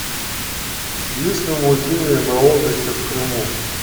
есть ли музеи на отдыхе в крыму